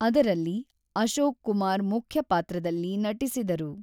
ಅದರಲ್ಲಿ ಅಶೋಕ್ ಕುಮಾರ್ ಮುಖ್ಯ ಪಾತ್ರದಲ್ಲಿ ನಟಿಸಿದರು.